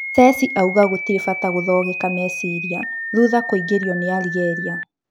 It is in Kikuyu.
Ceci auga gũtirĩ bata gũthogeka meciria thutha kũingĩrio ni Aligeria.